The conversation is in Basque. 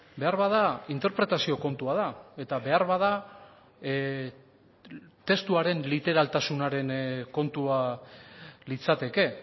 beharbada interpretazio kontua da eta beharbada testuaren literaltasunaren kontua litzateke